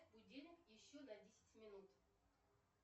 будильник еще на десять минут